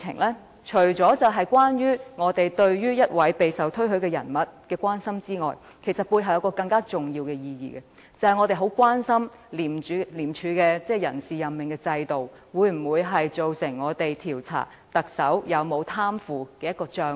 這除了是我們對於一位備受推許人員的關心之外，背後還有一重更重要的意義，那就是我們非常關注廉署的人事任命制度，會否造成調查特首有否貪腐行為的障礙。